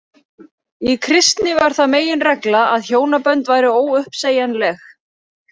Í kristni varð það meginregla að hjónabönd væru óuppsegjanleg.